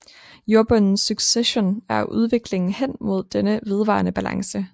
Jordbundens succession er udviklingen hen mod denne vedvarende balance